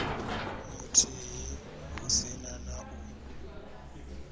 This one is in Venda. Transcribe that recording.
muthihi hu si na u